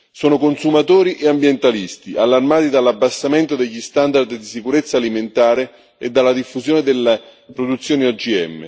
Sono consumatori e ambientalisti, allarmati dall'abbassamento degli standard di sicurezza alimentare e dalla diffusione delle produzioni OGM.